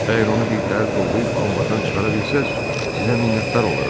Əgər onu bir təhər toplayıb anbardan çıxara bilsəz, sizə minnətdar olaram.